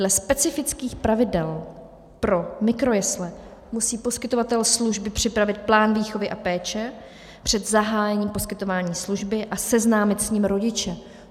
Dle specifických pravidel pro mikrojesle musí poskytovatel služby připravit plán výchovy a péče před zahájením poskytování služby a seznámit s ním rodiče.